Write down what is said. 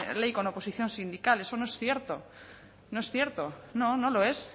ley con oposición sindical eso no es cierto no es cierto no no lo es